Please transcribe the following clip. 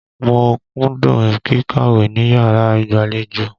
Mo kúndùn kíkàwé níyàrá ìgbàlejò.